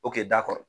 O kɛ da kɔrɔ